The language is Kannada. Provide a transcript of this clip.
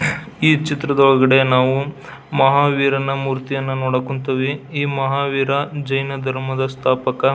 ಈ ಚಿತ್ರದೊಳಗಡೆ ನಾವು ಮಹಾವೀರನ ಮೂರ್ತಿಯನ್ನ ನೋಡಕ್ಹೊಂತಿವಿ ಈ ಮಹಾವೀರ ಜೈನ ಧರ್ಮದ ಸ್ಥಾಪಕ.